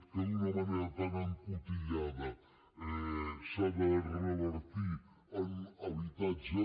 que d’una manera tan encotillada s’ha de revertir en habitatge